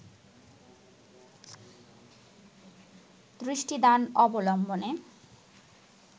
দৃষ্টিদান অবলম্বনে